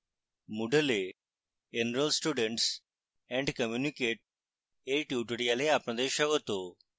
moodle এ enroll students and communicate এর tutorial আপনাদের স্বাগত